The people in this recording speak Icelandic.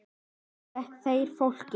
Nú fækki þeir fólki.